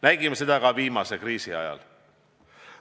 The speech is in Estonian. Nägime seda ka viimase kriisi ajal.